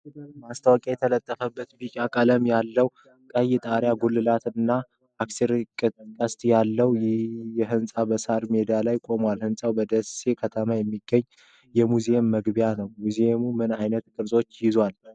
ማስታወቂያ የተለጠፈበት ቢጫ ቀለም ያለው፣ ቀይ የጣሪያ ጉልላት እና አርክቴክቸር ቅስቶች ያሉት ሕንጻ በሣር ሜዳ ላይ ቆሟል። ሕንጻው በደሴ ከተማ የሚገኝ የሙዚየም መግቢያ ነው። ሙዚየሞች ምን ዓይነት ቅርሶች ይይዛሉ?